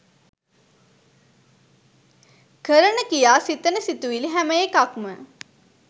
කරන ක්‍රියා සිතන සිතිවිලි හැම එකක්ම